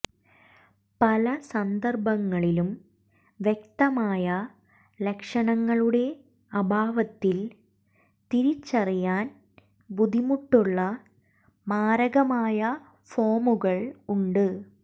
പല സന്ദർഭങ്ങളിലും വ്യക്തമായ ലക്ഷണങ്ങളുടെ അഭാവത്തിൽ തിരിച്ചറിയാൻ ബുദ്ധിമുട്ടുള്ള മാരകമായ ഫോമുകൾ ഉണ്ട്